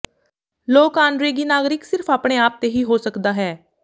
ਲੋਕ ਆਨਰੇਰੀ ਨਾਗਰਿਕ ਸਿਰਫ ਆਪਣੇ ਆਪ ਤੇ ਹੀ ਹੋ ਸਕਦਾ ਹੈ